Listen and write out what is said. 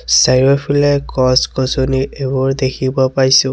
চাৰিওফালে গছ-গছনি এইবোৰ দেখিব পাইছোঁ।